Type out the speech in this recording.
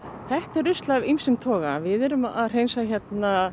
þetta er rusl af ýmsum toga við erum að hreinsa hérna